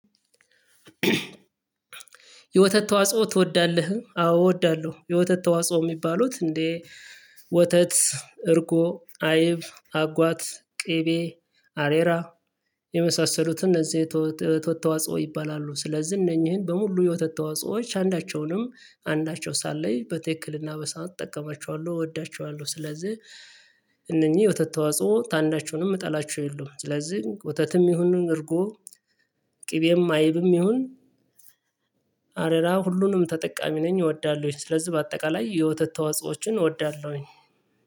የወተት ተዋጽኦ ትወዳለህ? አዎ እወዳለሁ። የወተት ተዋጽኦ የሚባሉት እንዴ ወተት እርጎ አይብ አጓት ቅቤ አሬራ የመሳሰሉትን እነዚህ የወተት ተዋጽኦዎች ይባላሉ። ስለዚህ እነኚህን በሙሉ የወተት ተዋጽኦዎች አንዳቸውንም አንዳቸው ሳለይ በትክክልና በሳን እጠቀማቸዋለሁ እወዳቸዋለሁ ስለዚህ። እነኚህ የወተት ተዋጽኦ ታንዳቸውንም የምጠላቸው የለውም። ስለዚህ ወተትም ይሁንን እርጎ ቅቤም አይብም ይሁን አሬራ ሁሉንም ተጠቃሚ ነኝ እወዳለሁኝ። ስለዚህ በአጠቃላይ የወተት ተዋጽኦዎችን እወዳለሁኝ